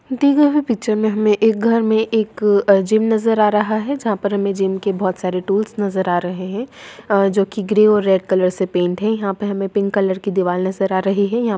दी गई हुई पिक्चर में हमें एक घर में एक अ जिम नजर आ रहा है जहाँ पर हमें जिम के बहुत सारे टूल्स नजर आ रहें हैं अ जो की ग्रे और रेड कलर से पेंट हैं यहाँ पर हमें एक पिंक कलर की दीवार नजर आ रही है। यहाँ --